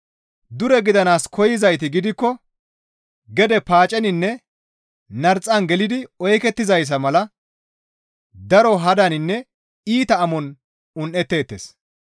Dure gidanaas koyzayti gidikko gede paaceninne narxan gelidi oykettizayssa mala daro hadaninne iita amon un7etteettes.